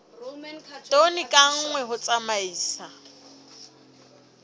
tone ka nngwe ho tsamaisa